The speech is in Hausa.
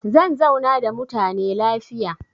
Zan zauna da mutane lafiya.